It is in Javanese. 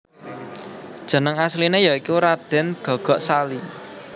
Jeneng asliné ya iku Radèn Gagak Sali